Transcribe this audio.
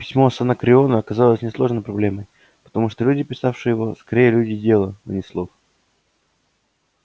письмо с анакреона оказалось несложной проблемой потому что люди писавшие его скорее люди дела а не слов